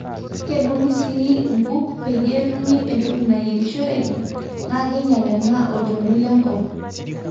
kedungi sii nkuk peyie etumi entoki nayierishoreki naa keinyal ena olchoni le nkop